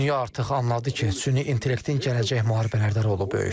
Dünya artıq anladı ki, süni intellektin gələcək müharibələrdə rolu böyükdür.